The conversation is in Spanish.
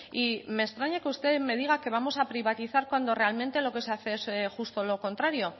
y me extraña que usted me diga que vamos a privatizar cuando realmente lo que se hace es justo lo contrario